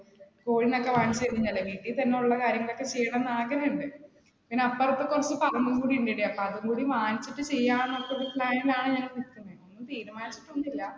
കോഴിനെ ഒക്കെ മേടിച്ചു കഴിഞ്ഞാലേ, വീട്ടിൽ തന്നെയുള്ള കാര്യങ്ങളൊക്കെ ചെയ്യണമെന്ന് ആഗ്രഹമുണ്ട്, പിന്ന, അപ്പുറത്ത് കുറച്ചു പറമ്പും കൂടിയുണ്ട് അപ്പ അതും കൂടി വാങ്ങിച്ചിട്ട് ചെയ്യാം എന്നൊരു plan ൽ ആണ് ഞാൻ ഇപ്പ നിൽക്കുന്നെ. ഒന്നും തീരുമാനിച്ചിട്ട് ഒന്നുമില്ല.